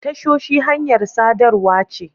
Tashoshi hanyar sadarwa ce.